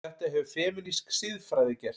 Þetta hefur femínísk siðfræði gert.